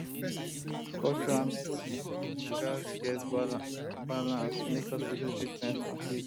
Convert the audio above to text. culture and medicine um gats balance um make hospital treatment complete